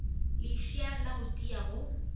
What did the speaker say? lefša la go tia go